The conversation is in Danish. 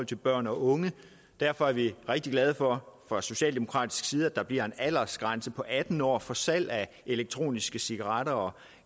til børn og unge derfor er vi rigtig glade for fra socialdemokratisk side at der bliver en aldersgrænse på atten år for salg af elektroniske cigaretter og